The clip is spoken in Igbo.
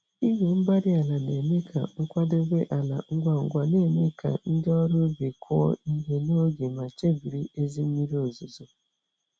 igwe-mgbárí-ala na-eme ka nkwadebe ala ngwa ngwa, némè' ka ndị ọrụ ubi kụọ ihe n'oge mà chebiri ezi mmiri ozuzo